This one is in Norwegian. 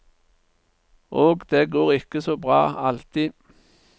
Og det går ikke så bra alltid.